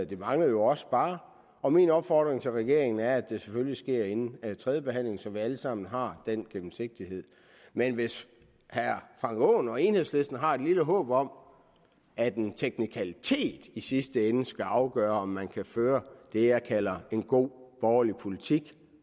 det manglede jo også bare og min opfordring til regeringen er at det selvfølgelig sker inden tredjebehandlingen så vi alle sammen har den gennemsigtighed men hvis herre frank aaen og enhedslisten har et lille håb om at en teknikalitet i sidste ende skal afgøre om man kan føre det jeg kalder en god borgerlig politik